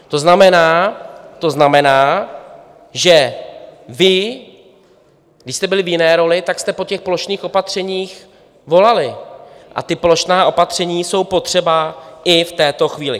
To znamená, že vy, když jste byli v jiné roli, tak jste po těch plošných opatřeních volali a ta plošná opatření jsou potřeba i v této chvíli.